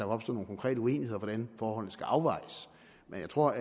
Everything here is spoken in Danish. opstår nogle konkrete uenigheder om hvordan forholdene skal afvejes men jeg tror